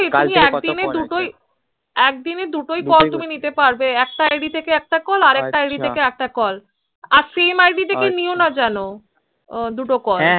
কাল থেকে কতো কল আসেছে তুমি একদিন দুটোই একদিনে দুটোই কল নিতে পারবে একটা id থেকে একটা আর একটা আছা id থেকে একটা কল আছা আর same id থেকে নিও না যেন হ্য়াঁ